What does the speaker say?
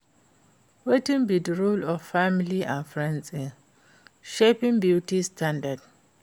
wetin be di role of family and friends in shaping beauty standards?